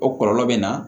O kɔlɔlɔ bɛ na